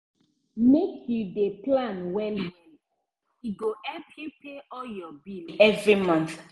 make you dey plan well-well e go help you pay all your bill every month.